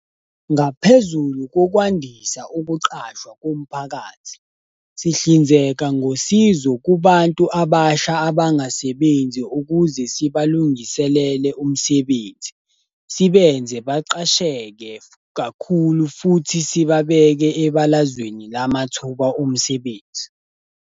Ngaphezulu kokwandisa ukuqashwa komphakathi, sihlinzeka ngosizo kubantu abasha abangasebenzi ukuze sibalungiselele umsebenzi, sibenze baqasheke kakhulu futhi sibabeke ebalazweni lamathuba omsebenzi.